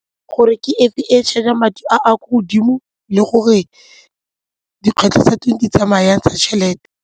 Gore ke efe e e charge-a madi a kwa godimo le gore dikgwetlho tsa teng di tsamaya jang tsa tšhelete.